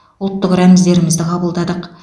ұлттық рәміздерімізді қабылдадық